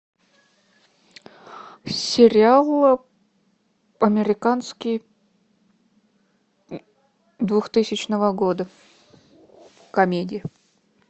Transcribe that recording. сериал американский двухтысячного года комедия